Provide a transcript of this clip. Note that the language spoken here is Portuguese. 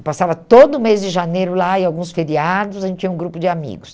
Eu passava todo mês de janeiro lá e alguns feriados, a gente tinha um grupo de amigos.